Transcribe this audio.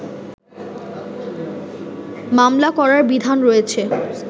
মামলা করার বিধান রয়েছে